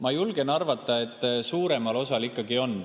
Ma julgen arvata, et suuremal osal ikkagi on.